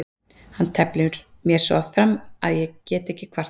Hann teflir mér oft fram svo ég get ekki kvartað.